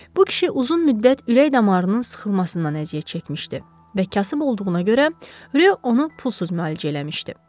Bu kişi uzun müddət ürək damarının sıxılmasından əziyyət çəkmişdi və kasıb olduğuna görə Ryo onu pulsuz müalicə eləmişdi.